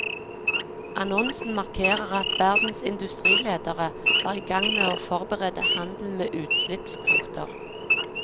Annonsen markerer at verdens industriledere er i gang med å forberede handel med utslippskvoter.